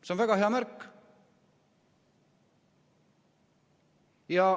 See on väga hea märk.